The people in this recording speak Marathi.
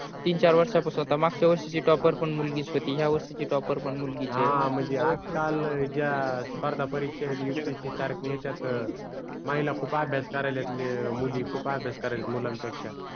तीन चार वर्षा पासून मागच्या वर्षीची पण topper मुलगी होती ह्या वर्षीची पण topper मूलगिच आहे हा म्हणजे आज काल ज्या स्पर्धा परीक्षा आहेत upsc सारखे त्यात महिला खूप अभ्यास करयलेत मुली खूप अभ्यास करयलेत मुलाण पेक्षा